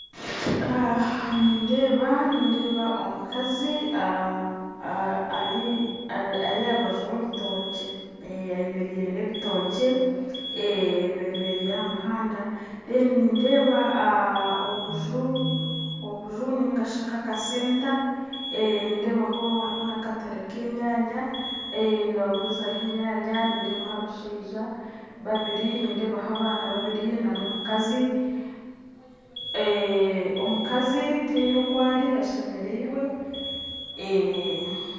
Nindeeba nindeeba omukazi ari aha rubaju rw'ebitookye ayemereire n'ebitookye bemereire aha muhanda reero nindeeba obuju obuju nainga shi akasenta nindeebaho hariho n'akatare k'enyanya nibagurizaho enyanya nindeebaho abashaija babiri nindeebaho abaana babiri n'omukazi omukazi tihaine oku ari ashemireirwe.